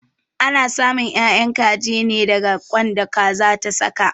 Ana samun 'ya'yan kaji ne daga ƙwan da Kaza ta saka.